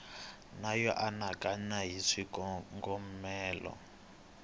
na yo anakanya hi swikongomelo